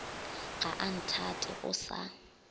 ga a nthate o sa